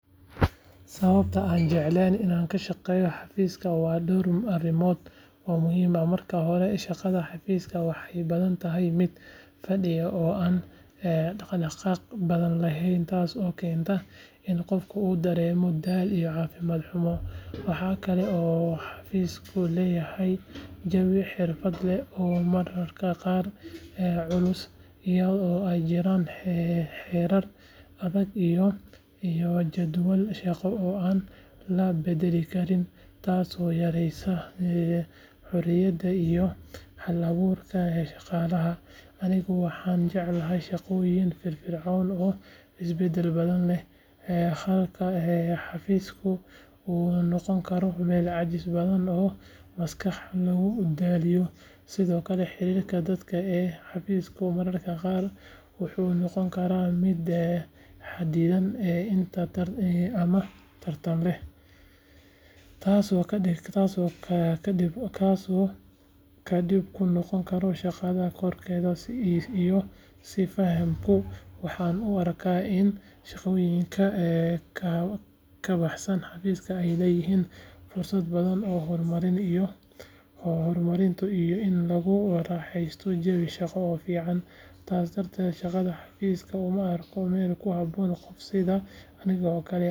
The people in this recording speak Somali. Sababaha aanan jeclayn inaan ka shaqeeyo xafiiska waa dhowr arrimood oo muhiim ah. Marka hore, shaqada xafiiska waxay badanaa tahay mid fadhiid ah oo aan dhaqdhaqaaq badan lahayn taasoo keenta in qofka uu dareemo daal iyo caafimaad xumo. Waxa kale oo xafiisku leeyahay jawi xirfad leh oo mararka qaar culus, iyadoo ay jiraan xeerar adag iyo jadwal shaqo oo aan la beddeli karin taasoo yareysa xorriyadda iyo hal-abuurka shaqaalaha. Anigu waxaan jeclahay shaqooyin firfircoon oo isbeddel badan leh, halka xafiiska uu noqon karo meel caajis badan oo maskaxda lagu daaliyo. Sidoo kale, xiriirka dadka ee xafiiska mararka qaar wuxuu noqon karaa mid xaddidan ama tartan leh, taasoo dhib ku noqota shaqada kooxeed iyo is-fahamka. Waxaan u arkaa in shaqooyinka ka baxsan xafiiska ay leeyihiin fursado badan oo horumarineed iyo in lagu raaxeysto jawi shaqo oo firfircoon. Sidaas darteed, shaqada xafiiska uma arko meel ku habboon qof sida aniga oo kale ah oo jece.